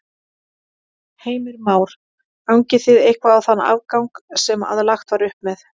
Heimir Már: Gangið þið eitthvað á þann afgang sem að lagt var upp með?